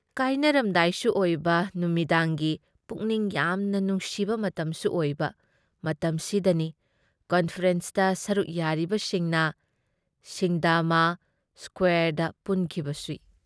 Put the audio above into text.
ꯀꯥꯏꯅꯔꯝꯗꯥꯥꯏꯁꯨ ꯑꯣꯏꯕ ꯅꯨꯃꯤꯗꯥꯡꯒꯤ ꯄꯨꯛꯅꯤꯡ ꯌꯥꯝꯅ ꯅꯨꯡꯁꯤꯕ ꯃꯇꯝꯁꯨ ꯑꯣꯏꯕ ꯃꯇꯝꯁꯤꯗꯅꯤ ꯀꯟꯐꯔꯦꯟꯁꯇ ꯁꯔꯨꯛ ꯌꯥꯔꯤꯕꯁꯤꯡꯅ ꯁꯤꯡꯗꯥꯃꯥ ꯁ꯭ꯀꯨꯋꯦꯔꯗ ꯄꯨꯟꯈꯤꯕꯁꯤ ꯫